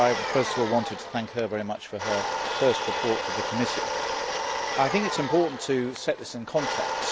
But I first of all wanted to thank her very much for her first report for the committee. I think it is important to set this in context.